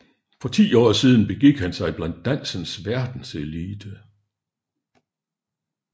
For ti år siden begik han sig blandt dansens verdenselite